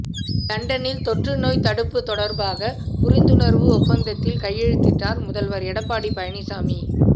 லண்டனில் தொற்று நோய் தடுப்பு தொடர்பாக புரிந்துணர்வு ஒப்பந்தத்தில் கையெழுத்திட்டார் முதல்வர் எடப்பாடி பழனிசாமி